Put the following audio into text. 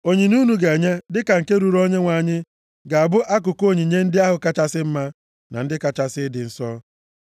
Onyinye unu ga-enye dịka nke ruuru Onyenwe anyị ga-abụ akụkụ onyinye ndị ahụ kachasị mma, na ndị kachasị ịdị nsọ.’